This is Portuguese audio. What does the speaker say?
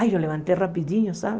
Ai, eu levantei rapidinho, sabe?